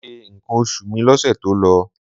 Mo ṣe nǹkan oṣù mi lọ́sẹ̀ tó lọ.